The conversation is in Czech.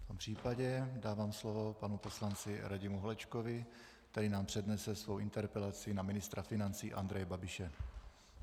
V tom případě dávám slovo panu poslanci Radimu Holečkovi, který nám přednese svou interpelaci na ministra financí Andreje Babiše.